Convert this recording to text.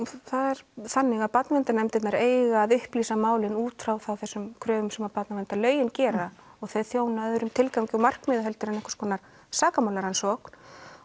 það er þannig að barnaverndarnefndirnar eiga að upplýsa málin út frá þessum kröfum sem barnaverndarlögin gera og þau þjóna öðrum tilgangi og markmiðum en einhvers konar sakamálarannsókn